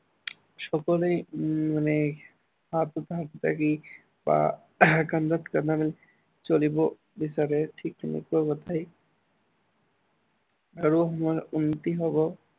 সকলোৱে উম মানে হাতত হাত ধৰি বা কান্ধত কান্ধত দি চলিব বিচাৰে, ঠিক তেনেকুৱা কথাই আৰু হম উন্নতি হব